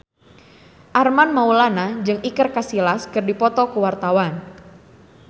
Armand Maulana jeung Iker Casillas keur dipoto ku wartawan